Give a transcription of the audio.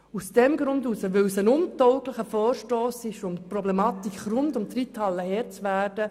Es ist ein untauglicher Vorstoss, um der Problematik rund um die Reithalle Herr zu werden.